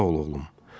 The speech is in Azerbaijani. Sağ ol, oğlum.